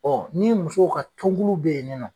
Ɔ ni musow ka tunkulu be yen ni nɔ